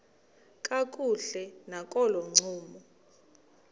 kakuhle nakolo ncumo